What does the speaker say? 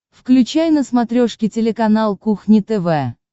включай на смотрешке телеканал кухня тв